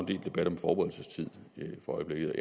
del debat om forberedelsestid for øjeblikket